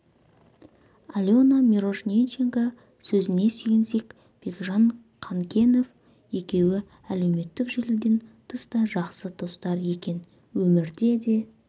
алена мирошниченко сөзіне сүйенсек бекжан қанкенов екеуі әлеуметтік желіден тыс та жақсы достар екен өмірде де